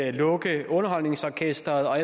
at lukke underholdningsorkestret og